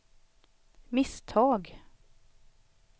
misstag